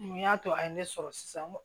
Mun y'a to a ye ne sɔrɔ sisan n ko